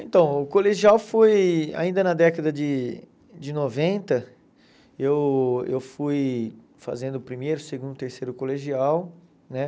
Então, o colegial foi, ainda na década de de noventa, eu eu fui fazendo o primeiro, o segundo, o terceiro colegial, né?